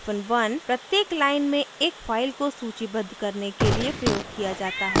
1 hyphen one प्रत्येक line में एक फ़ाइल को सूचीबद्ध करने के लिए प्रयोग किया जाता है